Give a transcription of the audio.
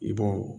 I b'o